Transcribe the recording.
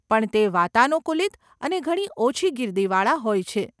પણ તે વાતાનુકુલિત અને ઘણી ઓછી ગીર્દીવાળા હોય છે.